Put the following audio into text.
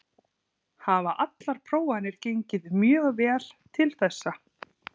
Hafa allar prófanir gengið mjög vel til þessa.